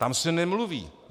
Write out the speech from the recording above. Tam se nemluví.